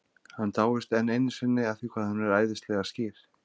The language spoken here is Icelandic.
Hann dáist enn einu sinni að því hvað hún er æðislega skýr.